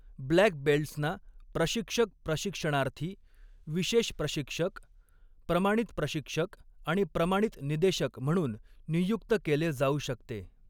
Black बेल्ट्सना प्रशिक्षक प्रशिक्षणार्थी, विशेष प्रशिक्षक, प्रमाणित प्रशिक्षक आणि प्रमाणित निदेशक म्हणून नियुक्त केले जाऊ शकते.